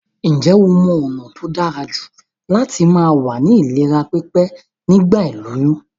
Njé o mo ònà t tóí dárajù láti ma wà ní ìlera pípé nígbà ìlóyún?